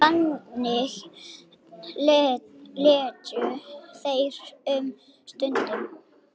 Þannig létu þeir um stund.